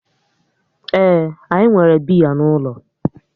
Ee, anyi nwere biya n'ulo